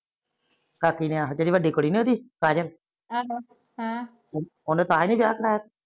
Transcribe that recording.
ਕਾਕੀ ਨੇ ਆਹੋ ਜਿਹੜੀ ਵੱਡੀ ਕੁੜੀ ਨੀ ਉਹਦੀ ਕਾਜਲ ਹਮ ਉਹਨੇ ਤਾਹੀ ਨੀ ਵਿਆਹ ਕਰਾਇਆ।